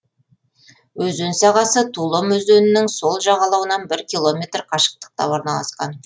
өзен сағасы тулом өзенінің сол жағалауынан бір километр қашықтықта орналасқан